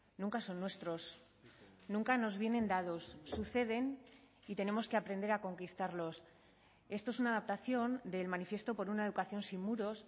nunca son nuestros nunca nos vienen dados suceden y tenemos que aprender a conquistarlos esto es una adaptación del manifiesto por una educación sin muros